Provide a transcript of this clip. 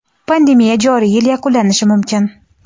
pandemiya joriy yil yakunlanishi mumkin.